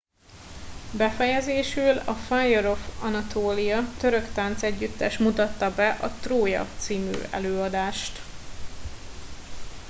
befejezésül a fire of anatolia török táncegyüttes mutatta be a trója című előadást